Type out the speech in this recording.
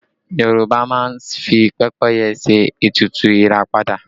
Yorùbá máa ń fi pẹ́pẹ́yẹ ṣe ètùtù ìràpadà